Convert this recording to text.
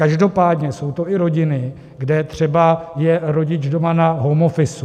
Každopádně jsou to i rodiny, kde třeba je rodič doma na home office.